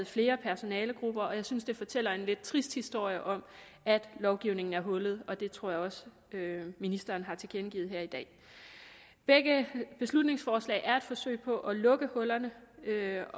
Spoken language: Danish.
flere personalegrupper er synes det fortæller en lidt trist historie om at lovgivningen er hullet og det tror jeg også ministeren har tilkendegivet her i dag begge beslutningsforslag er et forsøg på at lukke hullerne jeg